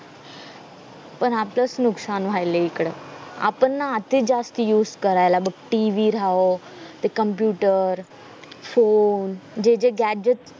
पण आपलाच नुकसान वायलाय इकडं आपण नाअति जास्त use करायला बग TV राहो ते computer ते phone जे जे gadget